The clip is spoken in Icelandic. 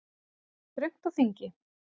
Það er þröngt á þingi